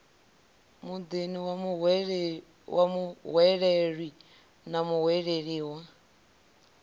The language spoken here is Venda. muḓini wa muhweleli na muhwelelwa